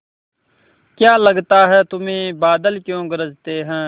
क्या लगता है तुम्हें बादल क्यों गरजते हैं